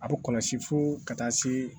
A bɛ kɔlɔsi fo ka taa se